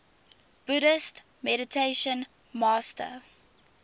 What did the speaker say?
buddhist meditation master